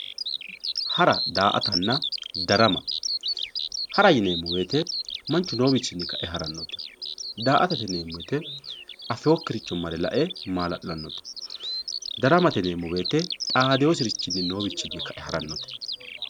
Hara, da"aattana darama, hara yineemmo woyte manchu noowichinni kae haranotta ,da"aattate yineemmo woyte afinokkiricho marre lae maala'lanote ,daramate yineemmo woyte xaadinosirichinni kae haranote.